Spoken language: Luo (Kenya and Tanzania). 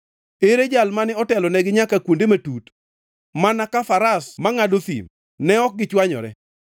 Ere Jal mane otelonegi nyaka kuonde matut?” Mana ka faras mangʼado thim, ne ok gichwanyore;